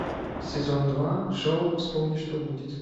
сезон два шоу вспомни что будет